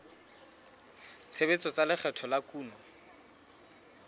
tshebetso tsa lekgetho la kuno